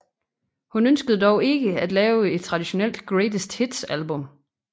Hun ønskede dog ikke at lave et traditionelt greatest hits album